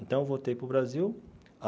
Então eu voltei para o Brasil.